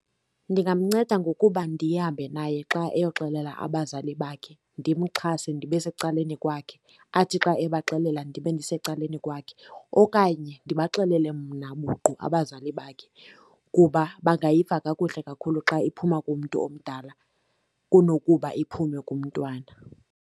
Ndingamnceda ngokuba ndihambe naye xa eyoxelela abazali bakhe, ndimxhase ndibe secaleni kwakhe, athi xa ebaxelela ndibe ndisecaleni kwakhe. Okanye ndibaxelele mna buqu abazali bakhe, kuba bangayiva kakuhle kakhulu xa iphuma kumntu omdala kunokuba iphume kumntwana.